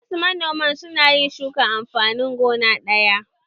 Wasu manoman su na yin shukan amfanin gona ɗaya